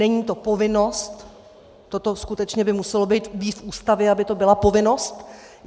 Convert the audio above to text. Není to povinnost, toto skutečně by muselo být v Ústavě, aby to byla povinnost.